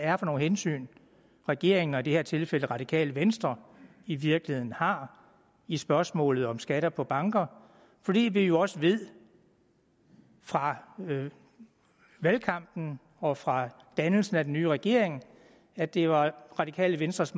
er for nogle hensyn regeringen i det her tilfælde radikale venstre i virkeligheden har i spørgsmålet om skatter på banker fordi vi jo også ved fra valgkampen og fra dannelsen af den nye regering at det var radikale venstres